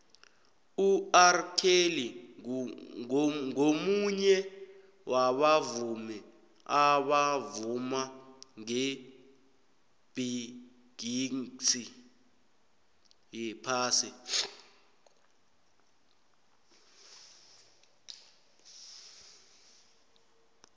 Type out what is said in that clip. urkelly ngumunye wabavumi abavuma ngebhigixi yephasi